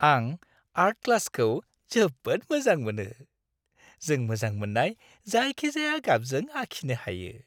आं आर्ट क्लासखौ जोबोद मोजां मोनो। जों मोजां मोननाय जायखिजाया गाबजों आखिनो हायो।